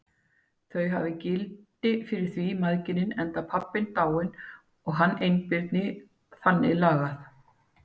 Þau hafi gildi fyrir þau mæðginin, enda pabbinn dáinn og hann einbirni og þannig lagað.